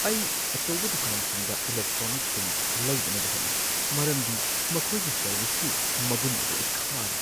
ꯑꯩ ꯑꯆꯧꯕ ꯗꯨꯀꯥꯟꯁꯤꯡꯗ ꯏꯂꯦꯛꯇ꯭ꯔꯣꯅꯤꯛꯁꯤꯡ ꯂꯩꯗꯅꯕ ꯍꯧꯠꯅꯩ ꯃꯔꯝꯗꯤ ꯃꯈꯣꯏꯒꯤ ꯁꯔꯚꯤꯁꯀꯤ ꯃꯒꯨꯟ ꯑꯗꯨ ꯑꯩ ꯈꯥꯔꯦ꯫